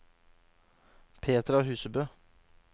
Petra Husebø